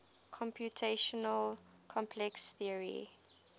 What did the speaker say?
computational complexity theory